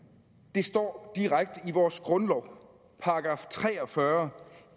det står direkte i vores grundlov i § tre og fyrre